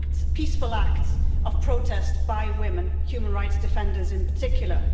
peaceful acts of protest by women, human rights defenders in particular.